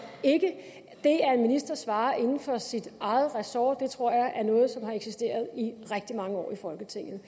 at en minister svarer inden for sit eget ressort tror jeg er noget som har eksisteret i rigtig mange år i folketinget